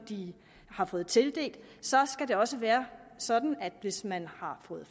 de har fået tildelt skal det også være sådan at hvis man har fået